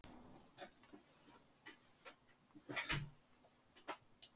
Þau fóru á nýjan grænmetisveitingastað.